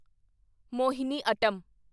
Mohiniyattam